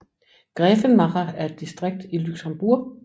Grevenmacher er et distrikt i Luxembourg